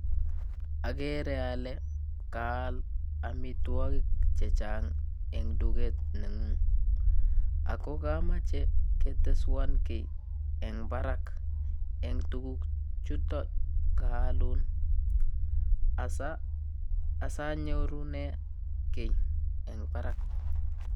Agere ale kaal amitwogik chechang eng duket nengung, ago kamache keteswan kiy eng barak eng tuguk chuton kaalun asanyorune kiy eng barak.